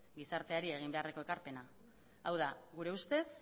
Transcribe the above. gizarteari egin beharreko ekarpena hau da gure ustez